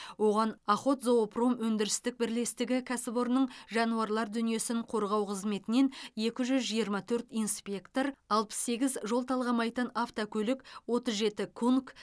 оған охотзоопром өндірістік бірлестігі кәсіпорынның жануарлар дүниесін қорғау қызметінен екі жүз жиырма төрт инспектор алпыс сегіз жол талғамайтын автокөлік отыз жеті кунг